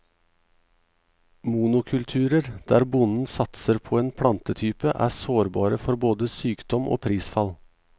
Monokulturer, der bonden satser på en plantetype, er sårbare for både sykdom og prisfall.